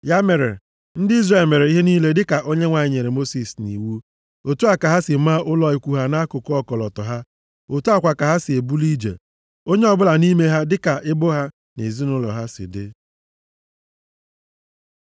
Ya mere, ndị Izrel mere ihe niile dịka Onyenwe anyị nyere Mosis nʼiwu. Otu a ka ha si maa ụlọ ikwu ha nʼakụkụ ọkọlọtọ ha. Otu a kwa ka ha si ebuli ije. Onye ọbụla nʼime ha dịka ebo ha na ezinaụlọ ha si dị.